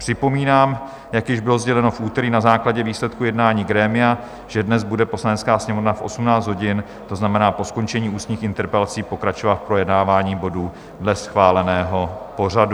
Připomínám, jak již bylo sděleno v úterý na základě výsledku jednání grémia, že dnes bude Poslanecká sněmovna v 18 hodin, to znamená po skončení ústních interpelací, pokračovat v projednávání bodů dle schváleného pořadu.